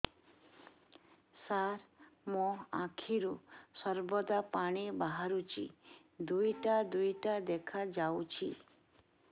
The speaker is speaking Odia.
ସାର ମୋ ଆଖିରୁ ସର୍ବଦା ପାଣି ବାହାରୁଛି ଦୁଇଟା ଦୁଇଟା ଦେଖାଯାଉଛି